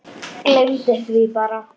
Gleymdi því bara.